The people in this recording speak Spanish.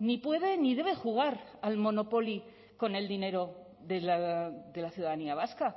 ni puede ni debe jugar al monopoly con el dinero de la ciudadanía vasca